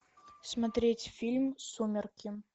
смотреть фильм сумерки